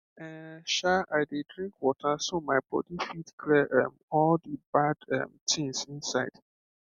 ehn um i dey drink water so my body fit clear um all the bad um things inside